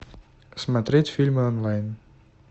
смотреть фильмы онлайн